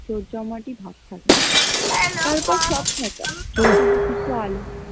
জোর জমাটি ভাব থাকে